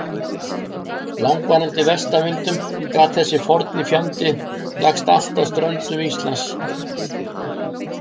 langvarandi vestanvindum gat þessi forni fjandi lagst allt að ströndum Íslands.